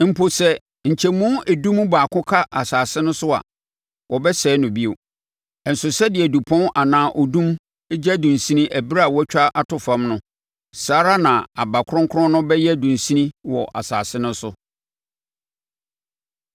Mpo, sɛ nkyɛmu edu mu baako ka asase no so a, wɔbɛsɛe no bio. Nso sɛdeɛ dupɔn anaa odum gya dunsini ɛberɛ a wɔatwa ato fam no, saa ara na aba kronkron no bɛyɛ dunsini wɔ asase no so.”